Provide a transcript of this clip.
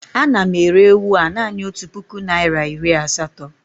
Ana m ere ewu a naanị otu puku naịra iri asatọ